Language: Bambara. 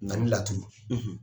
Na ni laturu